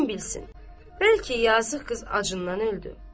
Kim bilsin, bəlkə yazıq qız acından öldü.